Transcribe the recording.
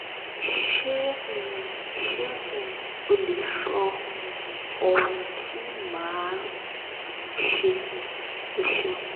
se um se um o le so um ohun ti ma a um se? o seun